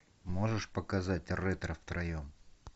можешь показать ретро втроем